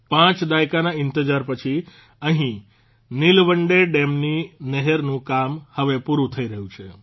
પાંચ દાયકાના ઇંતજાર પછી અહિં નીલવંડે ડેમની નહેરનું કામ હવે પૂરૂં થઇ રહ્યું છે